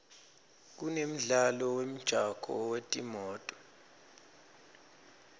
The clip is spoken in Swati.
kunemidlalo wemjako wetimoto